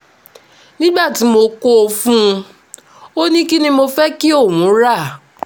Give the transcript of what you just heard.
nígbà tí mo kó o fún un ò ní kín ni mo fẹ́ kí òun rà